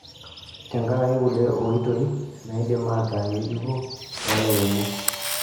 Tenkaraki kulie ooitoi naidim ataa ng'ejuko toolairemok.